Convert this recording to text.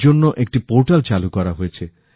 এর জন্য একটি পোর্টাল চালু করা হয়েছে